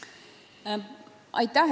Aitäh!